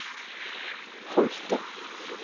Holtet